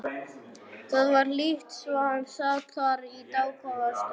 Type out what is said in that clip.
Það var hlýtt svo hann sat þar í dágóða stund.